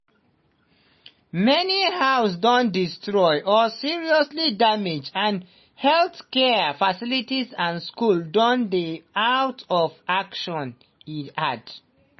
"many houses don destroy or seriously damage and healthcare facilities and schools don dey out of action" e add.